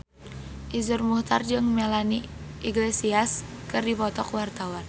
Iszur Muchtar jeung Melanie Iglesias keur dipoto ku wartawan